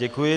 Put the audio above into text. Děkuji.